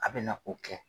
A bɛna o kɛ